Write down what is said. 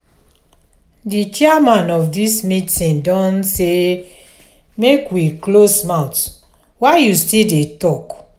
the chairman of dis meeting don say make we close mouth why you still dey talk?